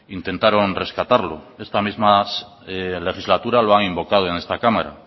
intentaron rescatarlo esta misma legislatura lo han invocado en esta cámara